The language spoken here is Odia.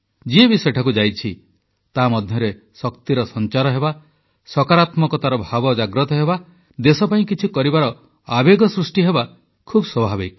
ଯିଏ ବି ସେଠାକୁ ଯାଇଛି ତା ମଧ୍ୟରେ ଶକ୍ତିର ସଂଚାର ହେବା ସକାରାତ୍ମକତାର ଭାବ ଜାଗ୍ରତ ହେବା ଦେଶ ପାଇଁ କିଛି କରିବାର ଆବେଗ ସୃଷ୍ଟି ହେବା ଖୁବ ସ୍ୱାଭାବିକ